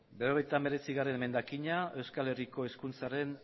berrogeita hemeretzigarrena emendakina euskal herriko hizkuntza